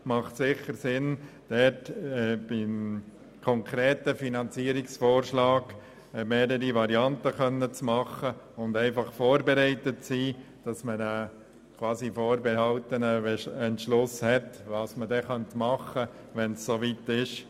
Deshalb macht es sicher Sinn, für einen konkreten Finanzierungsvorschlag mehrere Varianten präsentieren zu können und vorbereitet zu sein, sodass man bereits über einen vorberatenen Entschluss verfügt, wie man vorgehen könnte, wenn es soweit ist.